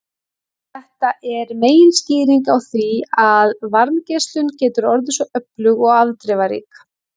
Þetta er meginskýringin á því að varmageislun getur orðið svo öflug og afdrifarík.